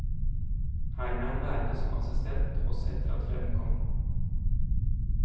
Her ble han værende som assistent også etter at freden kom.